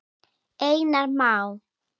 Einar Má.